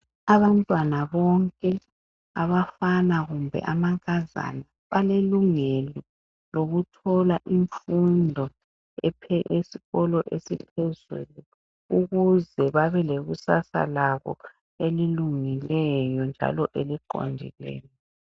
Abantwana bonke, abafana kumbe amankazana balelungelo lokuthola imfundo yesikolo esiphezulu ukuze babe lekusasa labo elilungileyo njalo eliqondileyo.